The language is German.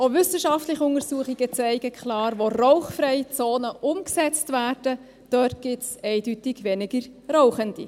Denn auch wissenschaftliche Untersuchungen zeigen klar: Wo rauchfreie Zonen umgesetzt werden, gibt es eindeutig weniger Rauchende.